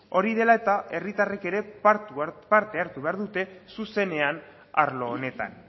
hori dela eta herritarrek ere parte hartu behar dute zuzenean arlo honetan